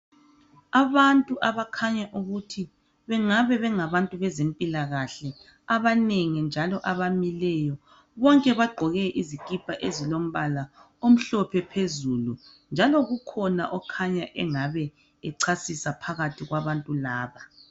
Abantu abakhanya ukuthi bengabe bengabantu bezempilakahle, abanengi njalo abamileyo. Bonke bagqoke izikipa ezilombala omhlophe phezulu, njalo kukhona okhanya engabe echasisa phakathi kwabantu laba.